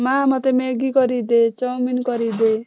ମା ମତେ maggie କରିକି ଦେ chowmein କରିକି ଦେ।